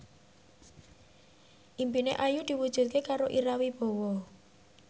impine Ayu diwujudke karo Ira Wibowo